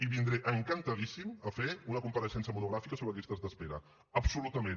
i vindré encantadíssim a fer una compareixença monogràfica sobre llistes d’espera absolutament